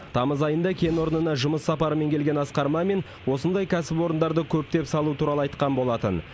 тамыз айында кен орнына жұмыс сапарымен келген асқар мамин осындай кәсіпорындарды көптеп салу туралы айтқан болатын